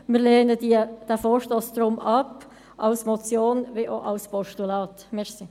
Wir lehnen diesen Vorstoss deshalb sowohl als Motion als auch als Postulat ab.